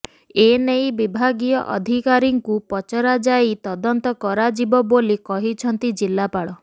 ଏନେଇ ବିଭାଗୀୟ ଅଧିକାରୀଙ୍କୁ ପଚରା ଯାଇ ତଦନ୍ତ କରାଯିବ ବୋଲି କହିଛନ୍ତି ଜିଲ୍ଲାପାଳ